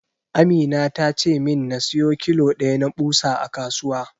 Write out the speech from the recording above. Amina ta ce min na siyo kilo ɗaya na ɓusa a kasuwa.